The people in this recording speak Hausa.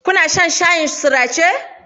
Kuna shan shayin sirace?